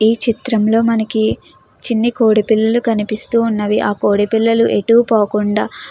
ఈ చిత్రంలో మనకి చిన్ని కోడి పిల్లలు కనిపిస్తూ ఉన్నవి ఆ కోడి పిల్లలు ఎటు పోకుండా --